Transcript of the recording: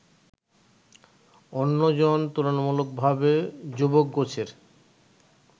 অন্য জন তুলনামূলকভাবে যুবকগোছের